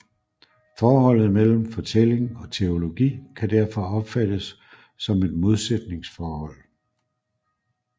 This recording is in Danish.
Forholdet mellem fortælling og teologi kan derfor opfattes som et modsætningsforhold